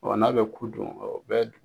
Ɔ n'a bɛ ku dun o bɛ dun.